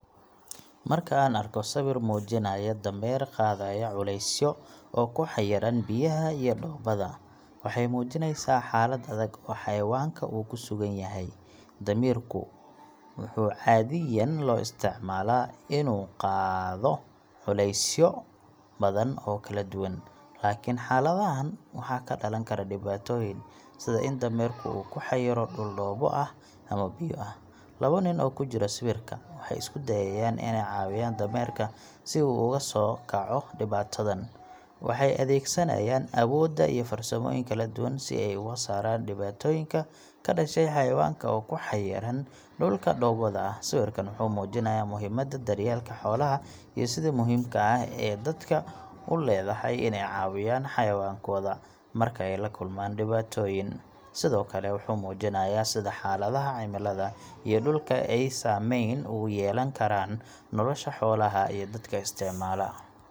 Marka aan arko sawir muujinaya dameer qaadaya culeysyo oo ku xayiran biyaha iyo dhoobada, waxay muujinaysaa xaalad adag oo xayawaanka uu ku sugan yahay. Damiirku wuxuu caadiyan loo isticmaalaa inuu qaado culeysyo badan oo kala duwan, laakiin xaaladahan waxaa ka dhalan kara dhibaatooyin, sida in dameerka uu ku xayiro dhul dhoobo ah ama biyo ah. Laba nin oo ku jira sawirka waxay isku dayayaan inay caawiyaan dameerka si uu uga soo kaco dhibaatadan. Waxay adeegsanayaan awoodooda iyo farsamooyin kala duwan si ay uga saaraan dhibaatooyinka ka dhashay xayawaanka oo ku xayiran dhulka dhoobada ah. Sawirkan wuxuu muujinayaa muhiimadda daryeelka xoolaha iyo sida muhiimka ah ee dadka u leedahay inay caawiyaan xayawaankooda marka ay la kulmaan dhibaatooyin. Sidoo kale, wuxuu muujinayaa sida xaaladaha cimilada iyo dhulka ay saameyn ugu yeelan karaan nolosha xoolaha iyo dadka isticmaala.